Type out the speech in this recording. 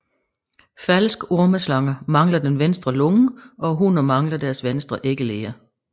Falske ormeslanger mangler den venstre lunge og hunnerne mangler deres venstre æggeleder